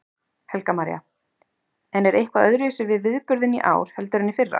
Helga María: En er eitthvað öðruvísi við viðburðinn í ár heldur en í fyrra?